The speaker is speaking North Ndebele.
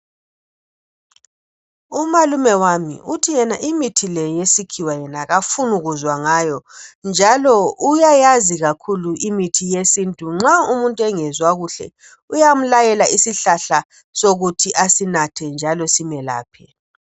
Umalume wami uthi yena imithi le yesikhiwa yena kafuni kuzwa ngayo njalo uyayazi imithi yesintu nxa umuntu engezwa kuhle uyamlayela isihlahla sokuthi asinathe njalo simelaphe